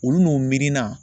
Olu no miirina